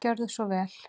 Gjörðu svo vel.